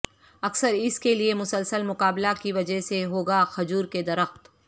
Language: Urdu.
اکثر اس کے لئے مسلسل مقابلہ کی وجہ سے ہو گا کھجور کے درخت